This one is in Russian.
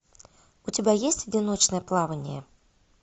у тебя есть одиночное плавание